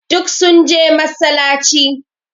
Duk sun je massalaci.